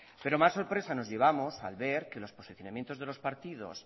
pero más sorpresa nos llevamos al ver que los posicionamientos de los partidos